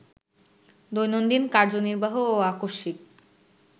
দৈনন্দিন কার্যনির্বাহ ও আকস্মিক